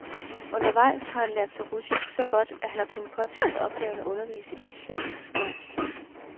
Undervejs har han lært sig russisk så godt, at han har kunnet påtage sig opgaven at undervise i de slaviske sprog.